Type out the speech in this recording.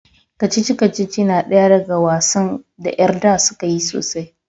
kacici-kacici na daya daga wasan da yar da suka yi sosai